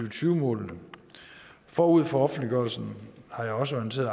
og tyve målene og forud for offentliggørelsen har jeg også orienteret